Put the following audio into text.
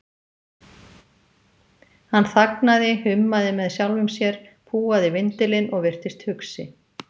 Hann þagnaði, hummaði með sjálfum sér, púaði vindilinn og virtist hugsi.